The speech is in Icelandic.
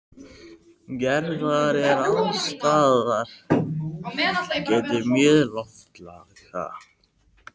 Gerðar er alls staðar getið mjög lofsamlega.